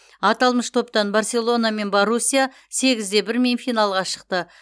аталмыш топтан барселона мен боруссия сегіз де бірмен финалға шықты